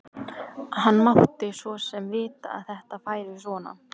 Hann mátti svo sem vita að þetta færi svona.